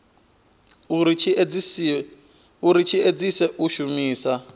uri tshi edzise u shumisa